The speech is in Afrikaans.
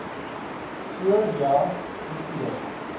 so ja hoeveel